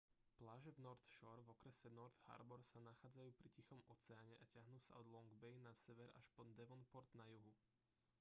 pláže v north shore v okrese north harbor sa nachádzajú pri tichom oceáne a tiahnu sa od long bay na severe až po devonport na juhu